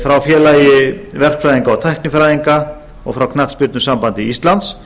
frá félagi verkfræðinga og tæknifræðinga og frá knattspyrnusambandi íslands